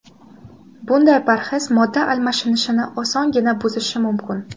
Bunday parhez modda almashinishini osongina buzishi mumkin.